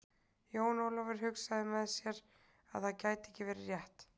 Jón Ólafur hugsaði með sér að það gæti ekki verið rétt.